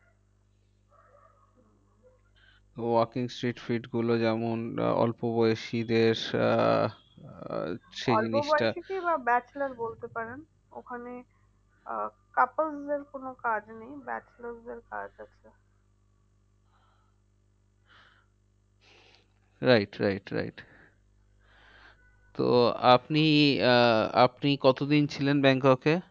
right right তো আপনি আহ আপনি কত দিন ছিলেন ব্যাংককে?